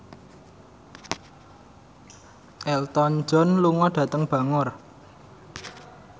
Elton John lunga dhateng Bangor